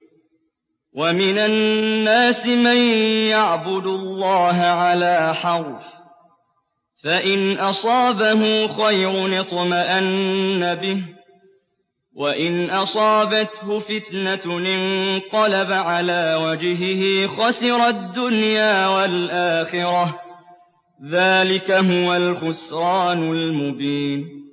وَمِنَ النَّاسِ مَن يَعْبُدُ اللَّهَ عَلَىٰ حَرْفٍ ۖ فَإِنْ أَصَابَهُ خَيْرٌ اطْمَأَنَّ بِهِ ۖ وَإِنْ أَصَابَتْهُ فِتْنَةٌ انقَلَبَ عَلَىٰ وَجْهِهِ خَسِرَ الدُّنْيَا وَالْآخِرَةَ ۚ ذَٰلِكَ هُوَ الْخُسْرَانُ الْمُبِينُ